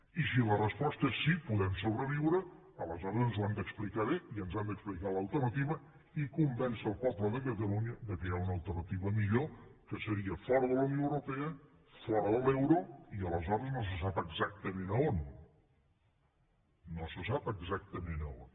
i si la resposta és sí podem sobreviure aleshores ens ho han d’explicar bé i ens han d’explicar l’alternativa i convèncer el poble de catalunya que hi ha una alternativa millor que seria fora de la unió europea fora de l’euro i aleshores no se sap exactament a on no se sap exactament a on